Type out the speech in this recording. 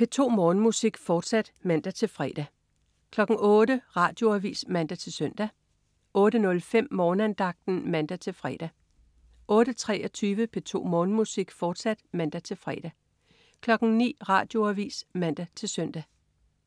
P2 Morgenmusik, fortsat (man-fre) 08.00 Radioavis (man-søn) 08.05 Morgenandagten (man-fre) 08.23 P2 Morgenmusik, fortsat (man-fre) 09.00 Radioavis (man-søn)